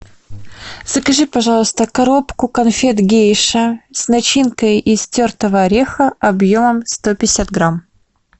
закажи пожалуйста коробку конфет гейша с начинкой из тертого ореха объемом сто пятьдесят грамм